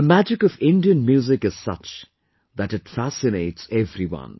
The magic of Indian music is such that it fascinates everyone